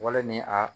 Wale ni a